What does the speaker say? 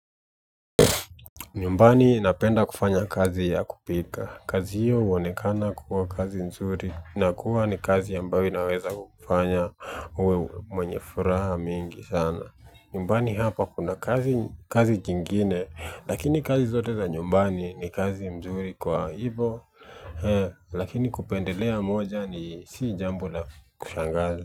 Nyumbani napenda kufanya kazi ya kupika, kazi hiyo huonekana kukuwa kazi mzuri, na kuwa ni kazi ambayo inaweza kufanya uwe mwenye furaha mingi sana. Nyumbani hapa kuna kazi kingine, lakini kazi zote za nyumbani ni kazi mzuri kwa hivyo, lakini kupendelea moja ni si jambo la kushangaza.